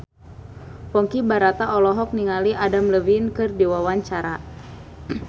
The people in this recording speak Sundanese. Ponky Brata olohok ningali Adam Levine keur diwawancara